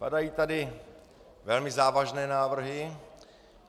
Padají tady velmi závažné návrhy.